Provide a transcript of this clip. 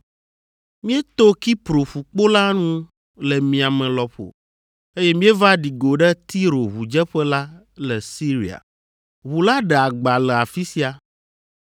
Míeto Kipro ƒukpo la ŋu le miame lɔƒo, eye míeva ɖi go ɖe Tiro ʋudzeƒe la le Siria. Ʋu la ɖe agba le afi sia.